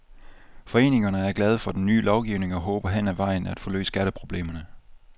Foreningerne er glade for den nye lovgivning, og håber hen ad vejen at få løst skatteproblemerne.